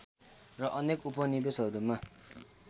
र अनेक उपनिवेशहरूमा